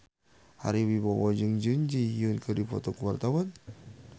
Ari Wibowo jeung Jun Ji Hyun keur dipoto ku wartawan